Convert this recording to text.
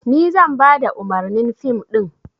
Ni zan bada umarnin fim ɗin.